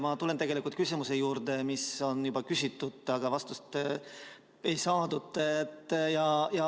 Ma tulen tegelikult küsimuse juurde, mida on juba küsitud, aga vastust ei saadud.